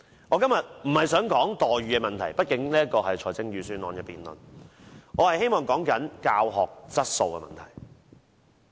我今天不是想說待遇問題，畢竟這是財政預算案的辯論，我希望說的是教學質素問題。